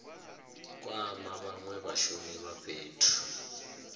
kwama vhanwe vhashumisi vha fhethu